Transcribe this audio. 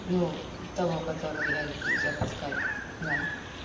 ну того которого я люблю запускать да